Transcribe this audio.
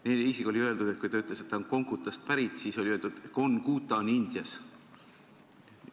Neile isegi oli öeldud, kui ta ütles, et ta on Kongutast pärit, et Konguta on Indias.